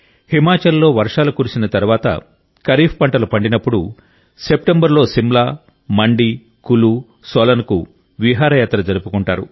హిమాచల్లో వర్షాలు కురిసిన తరువాత ఖరీఫ్ పంటలు పండినప్పుడు సెప్టెంబర్లో సిమ్లా మండి కులు సోలన్ లకు విహారయాత్ర జరుపుకుంటారు